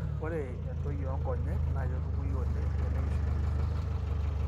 ore entoi onkonyek na ketumoyu oleng teneishunye eishoi.